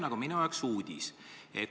See on minu jaoks uudis.